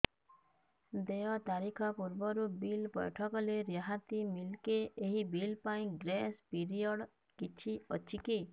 ଦେୟ ତାରିଖ ପୂର୍ବରୁ ବିଲ୍ ପୈଠ କଲେ ରିହାତି ମିଲେକି ଏହି ବିଲ୍ ପାଇଁ ଗ୍ରେସ୍ ପିରିୟଡ଼ କିଛି ଅଛିକି